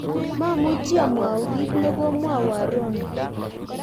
mamuchi amwau kito ne komwowon Rono